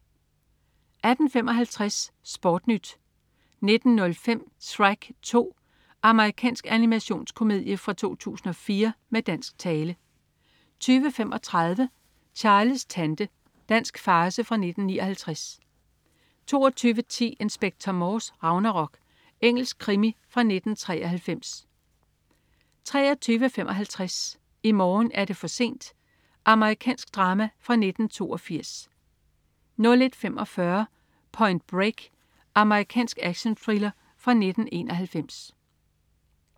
18.55 SportNyt 19.05 Shrek 2. Amerikansk animationskomedie fra 2004 med dansk tale 20.35 Charles' tante. Dansk farce fra 1959 22.10 Inspector Morse: Ragnarok. Engelsk krimi fra 1993 23.55 I morgen er det for sent. Amerikansk drama fra 1982 01.45 Point Break. Amerikansk actionthriller fra 1991